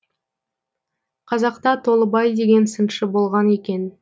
қазақта толыбай деген сыншы болған екен